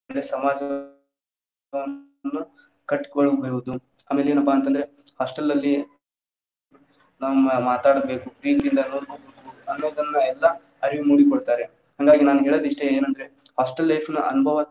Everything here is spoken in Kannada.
ಕಟ್ಕೊಳ್ಳಬಹುದು ಆಮೇಲ ಏನಪ್ಪಾ ಅಂತ ಅಂದ್ರೆ hostel life ನಲ್ಲಿ ನಮ್ಮ ಮಾತಾಡ್ಬೇಕು ಪ್ರೀತಿಯಿಂದ ಅನ್ನೋದ್ ಅನ್ನೋದನ್ನ ಎಲ್ಲಾ ಅರಿವು ಮೂಡಿ ಕೊಡ್ತಾರೆ ಹಾಂಗಾಗಿ ನಾನ್ ಹೇಳೋದ್ ಇಷ್ಟೇ ಏನ್ ಅಂದ್ರೆ hostel life ನ ಅನುಭವಾ ತುಂಬಾ.